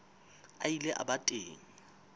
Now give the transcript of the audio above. a ile a ba teng